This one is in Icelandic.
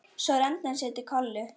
Svo renndi hann sér til Kollu.